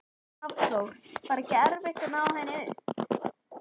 Hafþór: Var ekkert erfitt að ná henni upp?